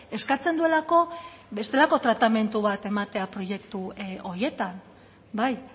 eskatzen duelako bestelako tratamendu bat ematea proiektu horietan bai